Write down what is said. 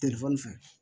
Telefɔni fɛ